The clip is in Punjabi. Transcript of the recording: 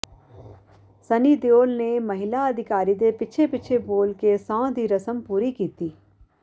ਸੰਨੀ ਦਿਓਲ ਨੇ ਮਹਿਲਾ ਅਧਿਕਾਰੀ ਦੇ ਪਿੱਛੇ ਪਿੱਛੇ ਬੋਲ ਕੇ ਸਹੁੰ ਦੀ ਰਸਮ ਪੂਰੀ ਕੀਤੀ